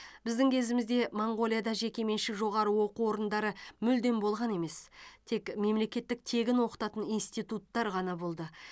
біздің кезімізде моңғолияда жекеменшік жоғары оқу орындары мүлдем болған емес тек мемлекеттік тегін оқытатын институттар ғана болды